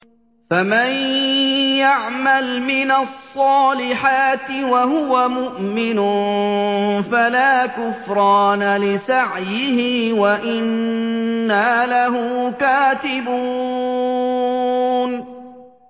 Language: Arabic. فَمَن يَعْمَلْ مِنَ الصَّالِحَاتِ وَهُوَ مُؤْمِنٌ فَلَا كُفْرَانَ لِسَعْيِهِ وَإِنَّا لَهُ كَاتِبُونَ